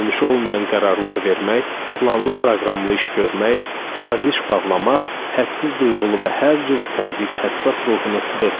Dönüşü olmayan qərarlar vermək, planlı proqramlı iş görmək, saziş bağlamaq hədsiz duyğulu və hər cürə təzyiqə həssas ruhunu sıxırdı.